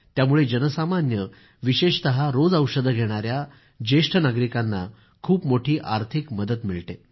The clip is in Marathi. त्यामुळे जनसामान्य विशेषतः रोज औषधं घेणाऱ्या वरिष्ठ नागरिकांना खूप मोठी आर्थिक मदत मिळते